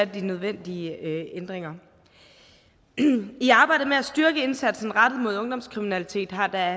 de nødvendige ændringer i arbejdet med at styrke indsatsen rettet mod ungdomskriminalitet har der